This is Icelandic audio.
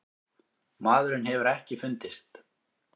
Maðurinn hefur ekki fundist.